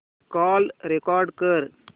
call record कर